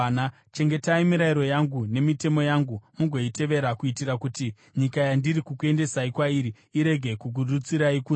“ ‘Chengetai mirayiro yangu nemitemo yangu mugoitevera kuitira kuti nyika yandiri kukuendesai kwairi irege kukurutsirai kunze.